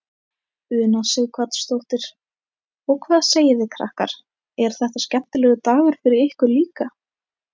Una Sighvatsdóttir: Og hvað segið þið krakkar, er þetta skemmtilegur dagur fyrir ykkur líka?